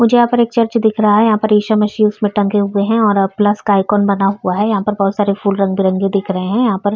मुझे यहाँ पर एक चर्च दिख रहा है। यहाँ पर ईशा मसिह उसमे टंगे हुऐ हैं और प्लस आइकॉन बना हुआ है। यहाँ पर बहोत सारे फूल रंग-बिरंगे दिख रहे हैं। यहाँ पर --